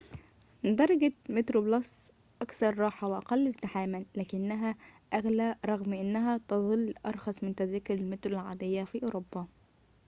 درجة متروبلس أكثر راحة وأقل ازدحامًا لكنها أغلى رغم أنها تظل أرخص من تذاكر المترو العادية في أوروبا